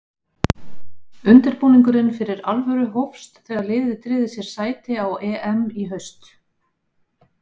Undirbúningurinn fyrir alvöru hófst þegar liðið tryggði sér sæti á EM í haust.